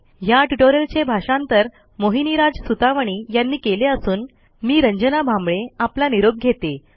ह्या ट्युटोरियलचे भाषांतर मोहिनीराज सुतवणी यांनी केले असून मी रंजना भांबळे आपला निरोप घेते